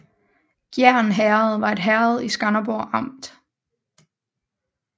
Gjern Herred var et herred i Skanderborg Amt